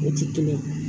O tɛ kelen ye